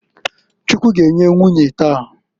Chukwu g'enye nwunye taa.